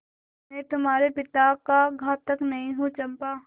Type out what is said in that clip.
मैं तुम्हारे पिता का घातक नहीं हूँ चंपा